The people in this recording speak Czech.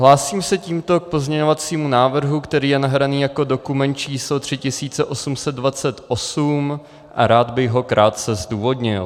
Hlásím se tímto k pozměňovacímu návrhu, který je nahraný jako dokument číslo 3828, a rád bych ho krátce zdůvodnil.